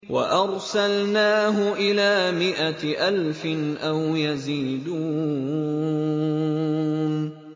وَأَرْسَلْنَاهُ إِلَىٰ مِائَةِ أَلْفٍ أَوْ يَزِيدُونَ